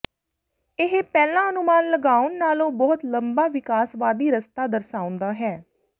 ਇਹ ਪਹਿਲਾਂ ਅਨੁਮਾਨ ਲਗਾਉਣ ਨਾਲੋਂ ਬਹੁਤ ਲੰਬਾ ਵਿਕਾਸਵਾਦੀ ਰਸਤਾ ਦਰਸਾਉਂਦਾ ਹੈ